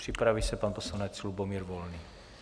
Připraví se pan poslanec Lubomír Volný.